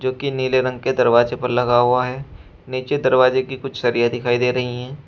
की नीले रंग के दरवाजे पर लगा हुआ है नीचे दरवाजे की कुछ सरिया दिखाई दे रही है।